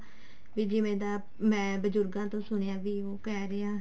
ਵੀ ਜਿਵੇਂ ਦਾ ਮੈਂ ਬਜੁਰਗਾਂ ਤੋਂ ਸੁਣਿਆ ਵੀ ਉਹ ਕਹਿ ਰਿਹਾ